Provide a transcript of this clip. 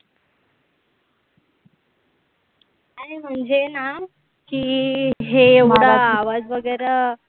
अरे म्हणजे ना हे एवढं आवाज वगैरे